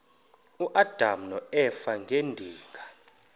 uadam noeva ngedinga